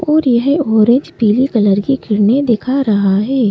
और येह ऑरेंज पीले कलर के किरणे देखा रहा है।